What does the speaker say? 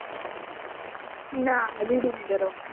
ના reading કરવાનું.